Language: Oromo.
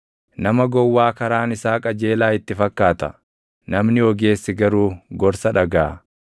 Nama gowwaa karaan isaa qajeelaa itti fakkaata; namni ogeessi garuu gorsa dhagaʼa.